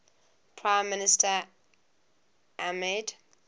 prime minister ahmed